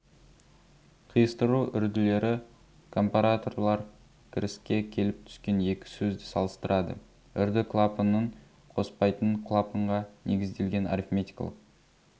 қиыстыру үрділері компараторлар кіріске келіп түскен екі сөзді салыстырады үрді клапанның қоспайтын клапанға негізделген арифметикалық